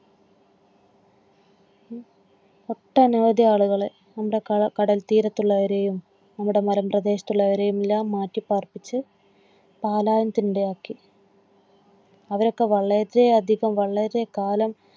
ഒട്ടന വധി ആളുകളെ നമ്മുടെ കടൽത്തീരത്തുള്ളവരെയും മണൽ തീരത്തുള്ളവരെയുംഎല്ലാവരെയും മാറ്റി പാർപ്പിച്ച്പാലായും തിണ്ടമാക്കി. അവരൊക്കെ വളരെയധികം വളരെ കാലം